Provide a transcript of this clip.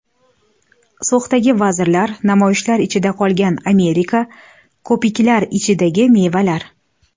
So‘xdagi vazirlar, namoyishlar ichida qolgan Amerika, ko‘piklar ichidagi mevalar.